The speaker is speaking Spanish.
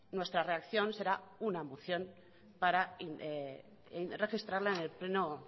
nuestra reacción será una moción para registrarla en el pleno